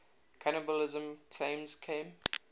cannibalism claims came